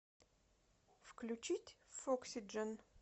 включить фоксиджен